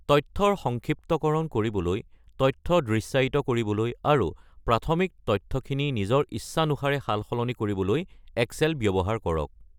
তথ্যৰ সংক্ষিপ্তকৰণ কৰিবলৈ, তথ্য দৃশ্যায়িত কৰিবলৈ, আৰু প্ৰাথমিক তথ্যখিনি নিজৰ ইচ্ছানুসাৰে সালসলনি কৰিবলৈ এক্সেল ব্যৱহাৰ কৰক।